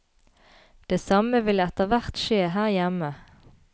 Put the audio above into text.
Det samme vil etterhvert skje her hjemme.